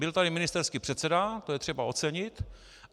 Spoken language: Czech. Byl tady ministerský předseda, to je třeba ocenit.